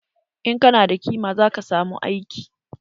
In kana da kima zaka samu aiki.